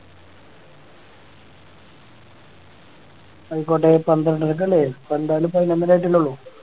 ആയിക്കോട്ടെ പന്ത്രണ്ടരയ്ക്ക് അല്ലേ ഇതിപ്പോ എന്തായാലും പതിനൊന്നര ആയിട്ടല്ലേ ഉള്ളു